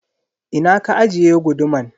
Ina ka ajiye guduman?